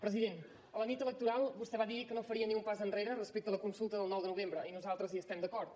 president la nit electoral vostè va dir que no faria ni un pas enrere respecte a la consulta del nou de novembre i nosaltres hi estem d’acord